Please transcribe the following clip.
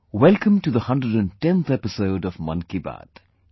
Welcome to the 110th episode of 'Mann Ki Baat'